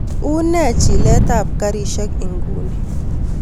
Unee chilet ab karishek ingunii